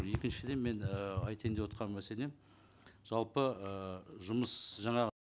екіншіден мен ііі айтайын деп отырған мәселем жалпы ы жұмыс жаңа